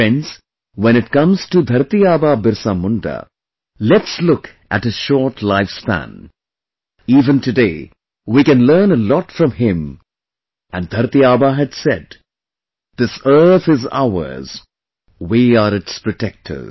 Friends, when it comes to Dharti Aba Birsa Munda, let's look at his short life span; even today we can learn a lot from him and Dharti Aba had said 'This earth is ours, we are its protectors